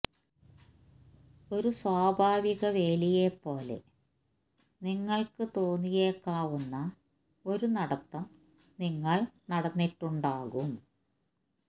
ഒരു സ്വാഭാവിക വേലിയെപ്പോലെ നിങ്ങൾക്ക് തോന്നിയേക്കാവുന്ന ഒരു നടത്തം നിങ്ങൾ നടന്നിട്ടുണ്ടാകും